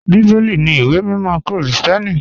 Bíbẹ́lì ní ìwé mímọ̀ Kírísítíánì.